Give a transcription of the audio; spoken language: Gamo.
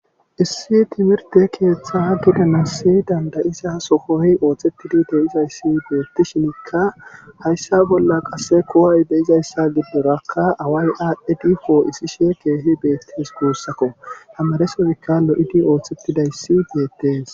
Issi timirtte keetha gidanassi danda7iza sohoy oosettidi de7izayssi beettishinkka hayssa bolla qasse ko7ay de7izayssa giddorakka away aadhidi poo7issishe keehi beettees guusakko tamaresonika lo7idi oosetidayssi beettes.